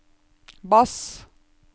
bass